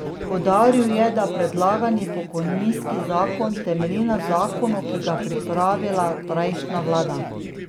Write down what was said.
Poudaril je, da predlagani pokojninski zakon temelji na zakonu, ki ga je pripravila prejšnja vlada.